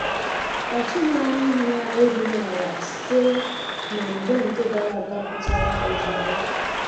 Ọ tughi anya ihu ya, erughi ala sitere na mgba nke gara aga pụtara ozugbo